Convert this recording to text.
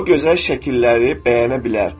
o gözəl şəkilləri bəyənə bilər.